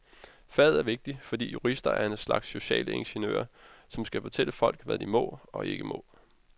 Faget er vigtigt, fordi jurister er en slags sociale ingeniører, som skal fortælle folk, hvad de må og ikke må.